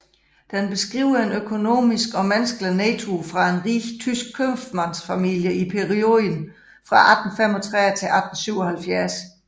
Den beskriver en økonomisk og menneskelig nedtur for en rig tysk købmandsfamilie i perioden fra 1835 til 1877